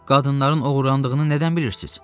Qadınların oğurlandığını nədən bilirsiz?